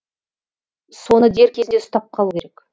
соны дер кезінде ұстап қалу керек